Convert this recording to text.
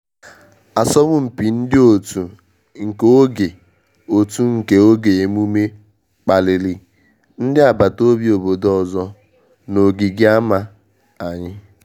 Asọmpi ndị otu nke oge otu nke oge emume kpaliri ndị abata obi obodo ọzọ na ogigi ama anyị